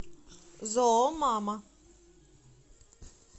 зоомама